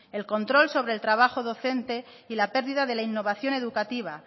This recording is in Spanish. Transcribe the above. el control sobre el trabajo docente y la pérdida de la innovación educativa